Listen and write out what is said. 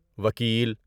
وکیل